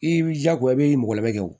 I b'i jija ko i b'i mɔgɔ labɛn o